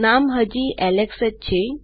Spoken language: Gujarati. નામ હજી એલેક્સ જ છે